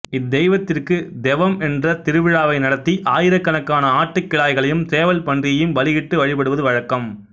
இத் தெய்வத்திற்குத் தெவம் என்ற திருவிழாவை நடத்தி ஆயிரக் கணக்கான ஆட்டுக் கிடாய்களையும் சேவல்பன்றியையும் பலியிட்டு வழிபடுவது வழக்கம்